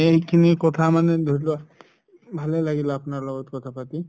সেইখিনি কথা মানে ধৰিলোৱা ভালে লাগিল আপোনাৰ লগত কথা পাতি